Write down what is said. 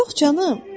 Yox canım.